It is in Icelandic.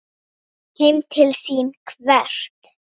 Heim til sín hvert?